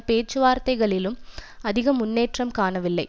பேச்சுவார்த்தைகளிலும் அதிக முன்னேற்றம் காணவில்லை